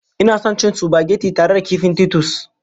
Ina son cin supageti tare da kifin Titus.